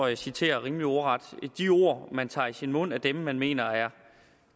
jeg citerer rimelig ordret at de ord man tager i sin mund er dem man mener er